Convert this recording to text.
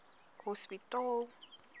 hospitaal